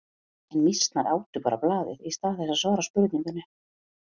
En mýsnar átu bara blaðið í stað þess að svara spurningunni.